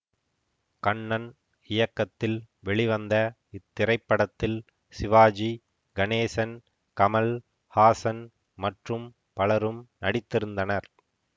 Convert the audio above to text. கண்ணன் இயக்கத்தில் வெளிவந்த இத்திரைப்படத்தில் சிவாஜி கணேசன் கமல் ஹாசன் மற்றும் பலரும் நடித்திருந்தனர்